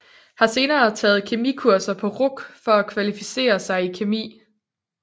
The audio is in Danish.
Har senere taget kemikurser på RUC for at kvalificere sig i kemi